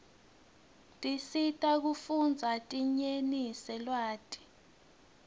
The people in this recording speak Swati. tiscsita kufundza dinyenise lwati